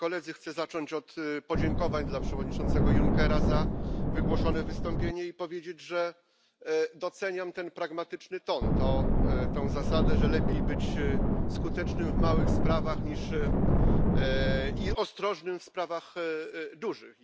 Chcę zacząć od podziękowań dla przewodniczącego Junckera za wygłoszone wystąpienie i powiedzieć, że doceniam ten pragmatyczny ton, tę zasadę, że lepiej być skutecznym w małych sprawach i ostrożnym w sprawach dużych.